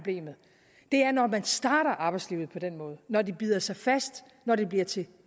det er når man starter arbejdslivet på den måde når det bider sig fast når det bliver til